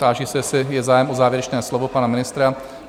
Táži se, jestli je zájem o závěrečné slovo - pana ministra?